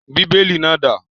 Bíbélì náà dà?